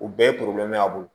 U bɛɛ ye a bolo